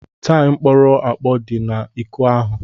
Taịm kpọrọ akpọ dị n'iko ahụ.